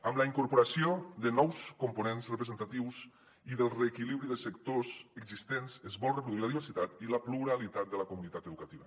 amb la incorporació de nous components representatius i del reequilibri de sectors existents es vol reproduir la diversitat i la pluralitat de la comunitat educativa